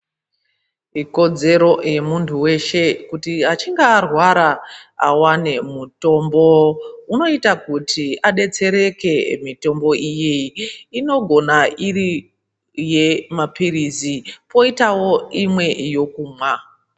Ikodzero yamunthu weshe kuti achinga arwara awane mutombo unoita kuti adetsereke. Mitombo iyi inogona iri yemapirizi poitawo imwe yekumwa.